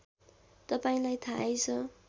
तपाईँलाई थाहै छ